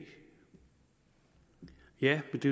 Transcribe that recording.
ja men det